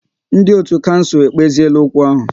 Ndị otu kouncil ekpeziela okwu ahu